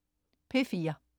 P4: